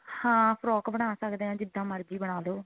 ਹਾਂ frock ਬਣਾ ਸਕਦੇ ਹਾਂ ਜਿੱਦਾਂ ਮਰਜੀ ਬਨਾਲੋ